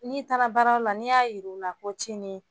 N'i baara yɔrɔ la ni y'a yir'u la ko cinin